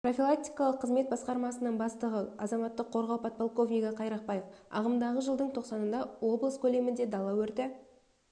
профилактикалық қызмет басқармасының бастығы азаматтық қорғау подполковнигі қайрақбаев ағымдағы жылдың тоқсанында облыс көлемінде дала өрті